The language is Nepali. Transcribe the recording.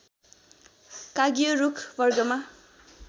काँगियो रूख वर्गमा